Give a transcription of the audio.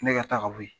Ne ka taa ka bɔ yen